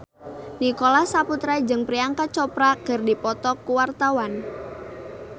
Nicholas Saputra jeung Priyanka Chopra keur dipoto ku wartawan